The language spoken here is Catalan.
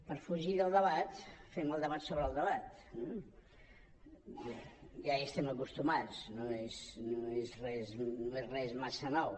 per fugir del debat fem el debat sobre el debat eh ja hi estem acostumats no és res massa nou